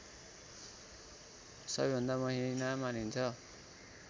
सबैभन्दा महिना मानिन्छ